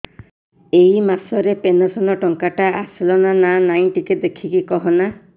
ଏ ମାସ ରେ ପେନସନ ଟଙ୍କା ଟା ଆସଲା ନା ନାଇଁ ଟିକେ ଦେଖିକି କହନା